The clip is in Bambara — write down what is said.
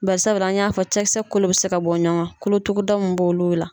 Bari sabula, an y'a fɔ cɛkisɛ kolon bɛ se ka bɔ ɲɔgɔn kan kolo tuguda mun b'olu la.